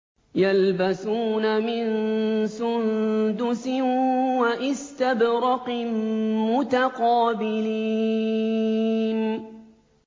يَلْبَسُونَ مِن سُندُسٍ وَإِسْتَبْرَقٍ مُّتَقَابِلِينَ